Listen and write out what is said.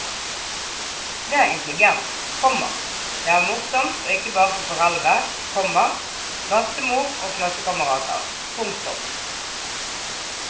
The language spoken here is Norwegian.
Det er intelligent, komma det er morsomt og ikke bare for foreldre, komma bestemor og klassekamerater. punktum